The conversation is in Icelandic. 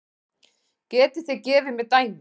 Getið þið gefið mér dæmi?